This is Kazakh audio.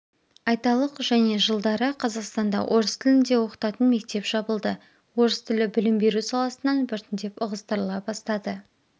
айталық және жылдары қазақстанда орыс тілінде оқытатын мектеп жабылды орыс тілі білім беру саласынан біртіндеп ығыстырыла бастады